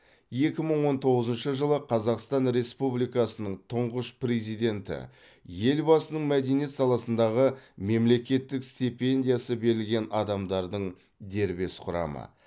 екі мың он тоғызыншы жылы қазақстан республикасының тұңғыш президенті елбасының мәдениет саласындағы мемлекеттік стипендиясы берілген адамдардың дербес құрамы